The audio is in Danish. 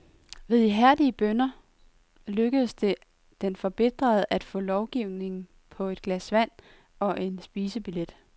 Ved ihærdige bønner lykkedes det den forbitrede at få lovning på et glas vand og en spisebillet.